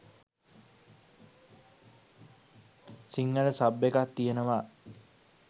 Sinhala sub එකක් තියෙනවා